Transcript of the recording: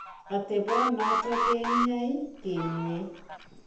Atepo noton ke ny'aay keeny'e.